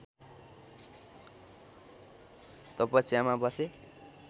तपस्यामा बसे